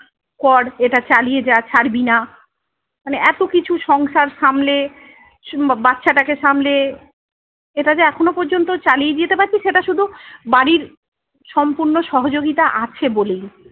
কর এটা চালিয়ে যা ছাড়বি না। মানে এত কিছু সংসার সামলে, বাচ্চাটাকে সামলে, এটা যে এখনো পর্যন্ত চালিয়ে যেতে পারছি সেটা শুধু বাড়ির সম্পূর্ণ সহযোগিতা আছে বলেই।